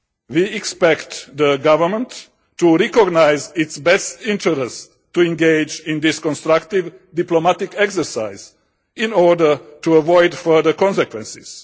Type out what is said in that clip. We expect the government to recognise its best interest to engage in this constructive diplomatic exercise in order to avoid further consequences.